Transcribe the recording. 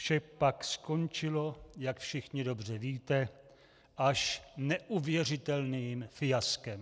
Vše pak skončilo, jak všichni dobře víte, až neuvěřitelným fiaskem.